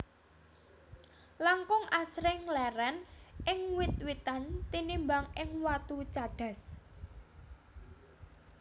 Langkung Asring leren ing wit witan tinimbang ing watu cadas